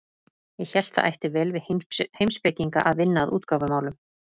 Ég hélt það ætti vel við heimspekinga að vinna að útgáfumálum.